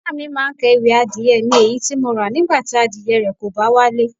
Ìyá mi máa ń ka ewì "adìẹ mi, èyí tí mo ra, nígbà tí adìẹ rẹ kò bá wálé.